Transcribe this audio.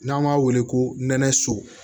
N'an b'a wele ko nɛnɛ so